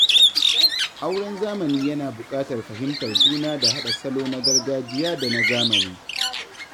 Auren zamani yana buƙatar fahimtar juna da haɗa salo na gargajiya da na zamani.